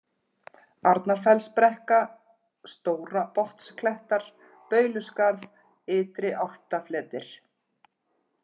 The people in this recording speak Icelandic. Arnarfellsbrekka, Stórabotnsklettar, Bauluskarð, Ytri-Álftafletir